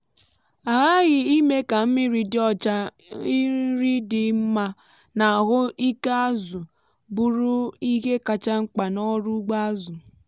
a ghaghị ime ka mmiri dị ọcha nri dị mma na ahụ ike azụ bụrụ ihe kacha mkpa n’ọrụ ugbo azụ.